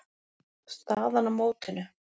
Staðan á mótinu